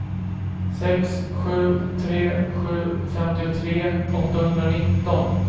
sex sju tre sju femtiotre åttahundranitton